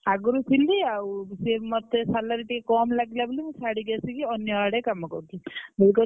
ଆଗରୁ ଥିଲି ଆଉ ସିଏ ମତେ salary ମତେ ଟିକେ କମ ଲାଗିଲା ବୋଲି ମୁଁ ଛାଡିକି ଆସିକି ଅନ୍ୟଆଡେ କାମ କରୁଛି।